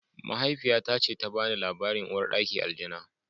Mahaifiyata ce ga bani labarin Uwar ɗaki Aljana